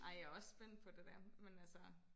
Ej jeg også spændt på det der men altså